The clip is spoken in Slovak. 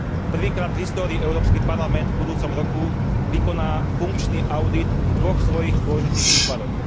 Prvýkrát v histórii Európsky parlament v budúcom roku vykoná funkčný audit v dvoch svojich dôležitých útvaroch.